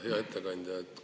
Hea ettekandja!